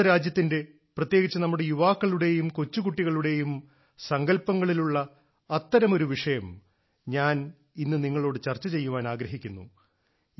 നമ്മുടെ രാജ്യത്തിന്റെ പ്രത്യേകിച്ച് നമ്മുടെ യുവാക്കളുടെയും കൊച്ചുകുട്ടികളുടെയും സങ്കൽപ്പങ്ങളിലുള്ള അത്തരമൊരു വിഷയം ഞാൻ ഇന്ന് നിങ്ങളോട് ചർച്ച ചെയ്യാൻ ആഗ്രഹിക്കുന്നു